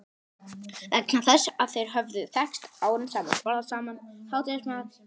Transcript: Vegna þess að þeir höfðu þekkst árum saman, borðað saman hádegismat í